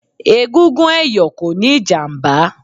Egungun ẹ̀yọ̀ kò níí ìjàmbá